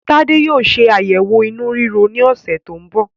Tade yóò ṣe ayẹwo inú riro ní ọsẹ tí ń bọ̀